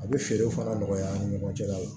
A bɛ feerew fana nɔgɔya an ni ɲɔgɔn cɛla la